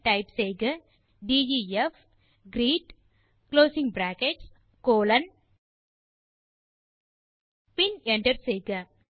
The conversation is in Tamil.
டைப் செய்க டெஃப் greet கோலோன் பின் என்டர் செய்க